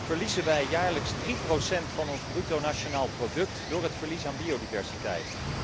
verliezen wij jaarlijks 3 van ons bruto nationaal product door het verlies aan biodiversiteit.